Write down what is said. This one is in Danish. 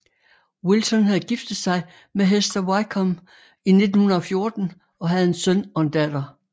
Wilson havde giftet sig med Hester Wykeham i 1914 og havde en søn og en datter